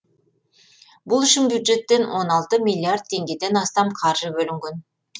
бұл үшін бюджеттен он алты миллиард теңгеден астам қаржы бөлінген